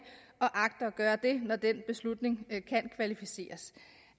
og agter at gøre det når den beslutning kan kvalificeres